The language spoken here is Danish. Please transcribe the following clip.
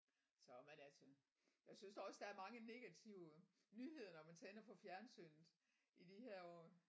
Så men altså jeg synes da også der er mange negative nyheder når man tænder for fjernsynet i de her år